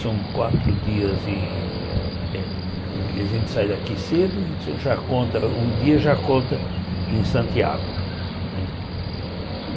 São quatro dias em é... A gente sai daqui cedo e já conta um dia já conta em Santiago não é.